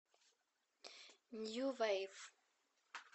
нью вейв